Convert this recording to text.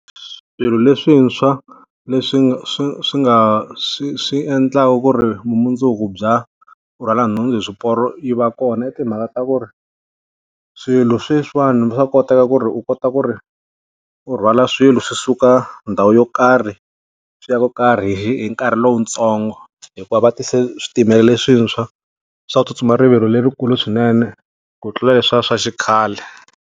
Swilo leswintshwa leswi swi swi nga swi swi endlaka ku ri mundzuku bya rhwala nhundzu hi swiporo yi va kona i timhaka ta ku ri, swilo sweswiwani swa koteka ku ri u kota ku ri u rhwala swilo swi suka ndhawu yo karhi, swi ya ko karhi hi hi nkarhi lowutsongo. Hikuva va ti se switimela leswintshwa swa ku tsutsuma rivilo lerikulu swinene, ku tlula leswiya swa xikhale.